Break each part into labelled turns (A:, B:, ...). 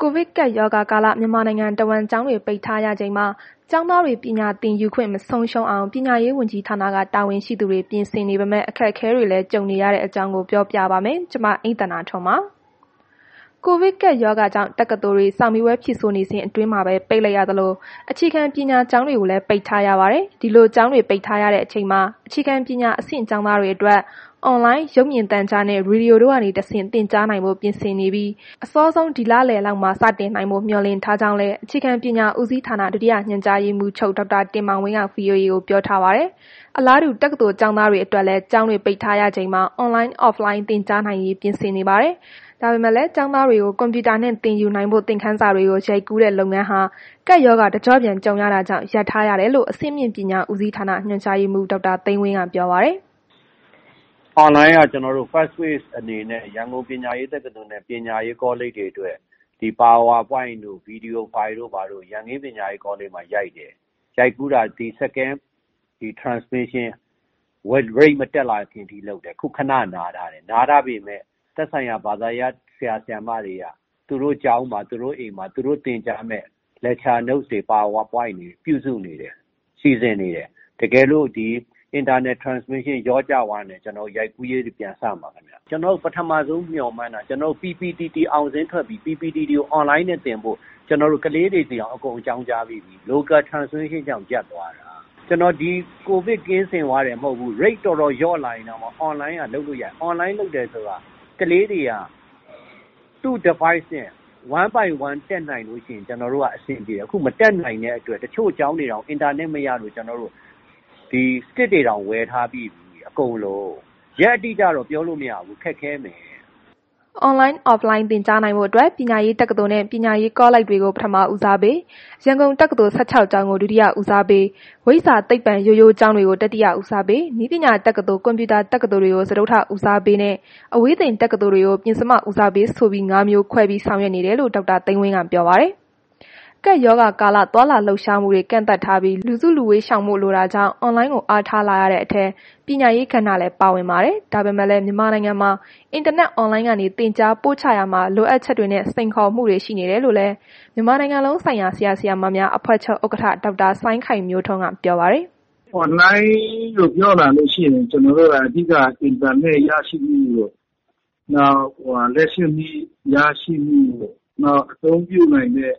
A: ကိုဗစ်ကပ်ရောဂါကာလ မြန်မာနိုင်ငံတဝန်း ကျောင်းတွေ ပိတ်ထားရချိန်မှာ ကျောင်းသားတွေ ပညာသင်ယူခွင့် မဆုံးရှုံးအောင် ပညာရေးဝန်ကြီးဌာန တာဝန်ရှိသူတွေ ပြင်ဆင်နေပေမဲ့ အခက်အခဲတွေလည်း ကြုံနေရတဲ့အကြောင်း ပြောပြပါမယ်။ ဗွီအိုအေမြန်မာပိုင်းသတင်းထောက် မအိမ့်သန္တာထွန်းက ပြောပြပါမယ်။ ကိုဗစ်ကပ်ရောဂါကြောင့် တက္ကသိုလ်တွေကို စာမေးပွဲဖြေဆိုနေစဉ်အတွင်းမှာပဲ ပိတ်လိုက်ရသလို အခြေခံပညာကျောင်းတွေကိုလည်း ပိတ်ထားရပါတယ်။ ဒီလိုကျောင်းတွေ ပိတ်ထားရတဲ့အချိန်မှာ အခြေခံပညာအဆင့် ကျောင်းသားတွေအတွက် Online ၊ ရုပ်မြင်သံကြားနဲ့ ရေဒီယိုတို့ကနေတဆင့် သင်ကြားနိုင်ဖို့ ပြင်ဆင်နေပြီး အစောဆုံး ဒီလလယ်လောက်မှာ စတင်နိုင်ဖို့ မျှော်လင့်ထားကြောင်းလည်း အခြေခံပညာဦးစီးဌာန ဒုတိယညွှန်ကြားရေးမှူးချုပ် ဒေါက်တာတင်မောင်ဝင်းက ဗွီအိုအေကို ပြောထားပါတယ်။ အလားတူ တက္ကသိုလ်ကျောင်းသားတွေအတွက်လည်း ကျောင်းတွေ ပိတ်ထားရချိန်မှာ Online/Offline သင်ကြားနိုင်ရေး ပြင်ဆင်နေပါတယ်။ ဒါပေမဲ့လည်း ရုပ်မြင်သံကြား၊ ရေဒီယိုတွေကနေ သင်ကြားနိုင်ဖို့ သင်ခန်းစာတွေကို ကြိုတင်ရိုက်ကူးတဲ့ လုပ်ငန်းတွေဟာလည်း ကပ်ရောဂါ တကျော့ပြန် ကြုံရတာကြောင့် ရပ်ထားရတယ်လို့ အဆင့်မြင့်ပညာဦးစီးဌာန ညွှန်ကြားရေးမှူး ဒေါက်တာသိန်းဝင်းက ပြောပါတယ်
B: ။ “Online က ကျနော်တို့ Fast Case အနေနဲ့ ရန်ကုန်ပညာရေးတက္ကသိုလ်နဲ့ ကောလိပ်တွေအတွက် Power Point တို့ Video File တို့ ရန်ကင်းပညာရေးကောလိပ်မှာ ရိုက်တယ်။ ရိုက်ကူးတာ ဒီ Second Transmission မတက်လာခင်အထိ လုပ်တယ်။ ခုခဏ နားထားတယ်။ နားထားပေမယ့် သက်ဆိုင်ရာ ဘာသာရပ် ဆရာ၊ ဆရာမတွေက သူတို့ကျောင်းမှာ သူတို့ အိမ်မှာ သူတို့သင်နိုင်မယ့် Note တွေ Power Point တွေကို ပြုစုနေတယ်။ စီစဉ်နေတယ်။ တကယ်လို့ ဒီ ကူးစက်မှုတွေ ပြန်ကျသွားရင် ရိုက်ကူးရေးတွေ ပြန်စပါမယ်။ ကျွန်တော်တို့ ပထမဆုံးမျှော်မှန်းတာက PPTT တွေအောင်စာရင်းထွက်ပြီးရင် PPTT ကို Online နဲ့ သင်ဖို့ ကျနော်တို့ ကလေးတွေဆီတောင် အကုန်အကြောင်းကြားပြီးပြီ။ Local Transmission ကြောင့်ရပ်သွားတာ။ ကျနော်တို့ ကိုဗစ်ကင်စင်သွားမှ မဟုတ်ဘူး၊ Rate တော်တော်လျော့လာရင်တောင်မှ Online က လုပ်လို့ရတယ်။ Online လုပ်တယ်ဆိုတာ ကလေးတွေက သူ့ Device နဲ့ One By One တက်နိုင်လို့ ရှိရင် ကျနော်တို့က အဆင်ပြေတယ်၊ ခုမတက်နိုင်တဲ့အတွက် တချို့ကျောင်းတွေတောင် အင်တာနက် မရလို့ stick တွေတောင် ဝယ်ထားပြီးပြီ အကုန်လုံး။ ရက်အတိအကျတော့ ပြောလို့မရဘူး။ ခက်ခဲမယ်
A: ။” Online၊ Offline သင်ကြားနိုင်ဖို့အတွက် ပညာရေးတက္ကသိုလ်နှင့် ပညာရေးကောလိပ်တွေကို ပထမ ဦးစားပေး၊ ရန်ကုန်တက္ကသိုလ် ၁၆ ကျောင်းကို ဒုတိယ ဦးစားပေး၊ ဝိဇ္ဇာ၊ သိပ္ပံ ရိုးရိုးကျောင်းတွေက တတိယဦးစားပေး၊ နည်းပညာတက္ကသိုလ်၊ ကွန်ပျူတာတက္ကသိုလ်တွေကို စတုတ္ထ ဦးစားပေး၊ အဝေးသင်တက္ကသိုလ်တွေကို ပဉ္စမ ဦးစားပေး ဆိုပြီး ၅ မျိုးခွဲပြီး ဆောင်ရွက်နေတယ်လို့ ဒေါက်တာ သိန်းဝင်းက ပြောပါတယ်။ ကပ်ရောဂါကာလ သွားလာလှုပ်ရှားမှုတွေ ကန့်သတ်ထားပြီး၊ လူစုလူဝေးရှောင်ဖို့ လိုတာကြောင့် အွန်လိုင်းကို အားထားလာရတဲ့အထဲ ပညာရေးကဏ္ဍလည်း ပါဝင်လာနေတာပါ။ ဒါပေမဲ့လည်း မြန်မာနိုင်ငံမှာ အင်တာနက် အွန်လိုင်းကနေ သင်ကြားပို့ချရာမှာ လိုအပ်ချက်တွေနဲ့ စိန်ခေါ်မှုတွေ ရှိနေတယ်လို့လည်း မြန်မာနိုင်ငံလုံးဆိုင်ရာ ဆရာ၊ ဆရာမများအဖွဲ့ချုပ် ဥက္ကဋ္ဌ ဒေါက်တာ စိုင်းခိုင်မျိုးထွန်းက ပြောပါတယ်။ “အွန်လိုင်း
C: လို့ ပြောလာလို့ရှိရင် ကျနော်တို့က အဓိကက အင်တာနက် ရရှိရေးပေါ့၊ နောက် လျှပ်စစ်မီးရရှိရေးတို့၊ နောက် အသုံးပြုနိုင်တဲ့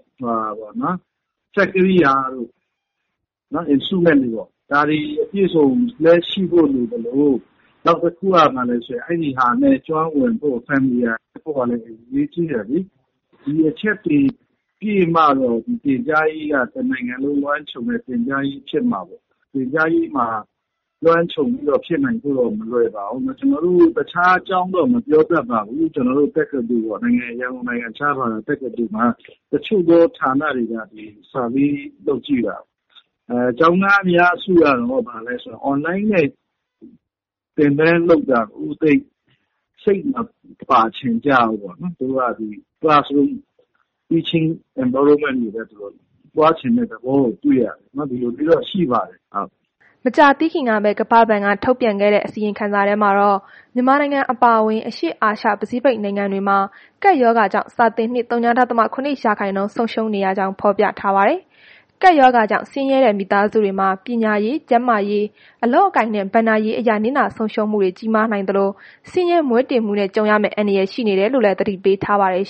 C: စက်ကိရိယာတို့ ဒါတွေအပြည့်အစုံလည်း ရှိဖို့လိုသလို နောက်တစ်ခုက အဲ့ဒါတွေနဲ့ ကျွမ်းဝင်ဖို့လည်း အရေးကြီးတယ်လေ။ ဒီအချက်တွေပြည့်မှပဲ ဒီသင်ကြားရေးက တစ်နိုင်ငံလုံးလွှမ်းခြုံတဲ့ နိုင်ငံရေးဖြစ်မှာလေ။ သင်ကြားရေးမှာ လွှမ်းခြုံမှုဖြစ်ဖို့တော့ မလွယ်ပါဘူး။ တခြားကျောင်းတော့ မပြောတတ်ပါဘူး။ ကျနော်တို့ရဲ့ ရန်ကုန်နိုင်ငံခြားဘာသာ တက္ကသိုလ်ကတော့ တချို့သောဌာနတွေက စစ်တမ်းကောက်ကြည့်တာ ကျောင်းသားအများစုက အွန်လိုင်းနဲ့ သင်တာကို သိပ်စိတ်မပါချင်ကြဘူးပေါ့နော်။ သူတို့က ဒီ Teaching Environment သဘောနဲ့ သွားချင်တာ တွေ့ရတယ်ပေါ့နော်။ ဒီလိုမျိုးတော့ရှိပါတယ်။”
A: မကြာသေးခင်ကပဲ ကမ္ဘာ့ဘဏ်က ထုတ်ပြန်ခဲ့တဲ့ အစီရင်ခံစာထဲမှာတော့ မြန်မာနိုင်ငံ အပါအဝင် အရှေ့အာရှ ပစိဖိတ်နိုင်ငံတွေမှာ ကပ်ရောဂါကြောင့် စာသင်နှစ် ဝ.၇ ရာခိုင်နှုန်း ဆုံးရှုံးရကြောင်း ဖော်ပြထားပါတယ်။ ကပ်ရောဂါကြောင့် ဆင်းရဲတဲ့ မိသားစုတွေမှာ ပညာရေး၊ ကျန်းမာရေး၊ အလုပ်အကိုင်နဲ့ ဘဏ္ဍာရေးအရ နစ်နာဆုံးရှုံးမှုတွေ ကြီးမားနိုင်သလို၊ ဆင်းရဲမွဲတေမှုနဲ့ ကြုံရမယ့်အန္တရာယ် ရှိနေတယ်လို့လည်း သတိပေးထားပါတယ်